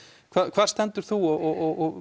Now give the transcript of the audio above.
hvar stendur þú og